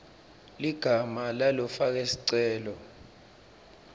ligama lalofake sicelo